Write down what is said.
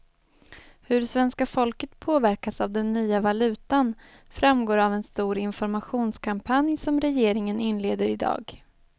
Hur svenska folket påverkas av den nya valutan framgår av en stor informationskampanj som regeringen inleder i dag.